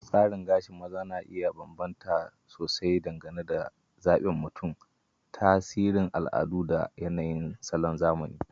Tsarin gashi na maza na iya bambanta sosai dangane da zabin mutum, tasirin al'adu, da yanayin salon zamani.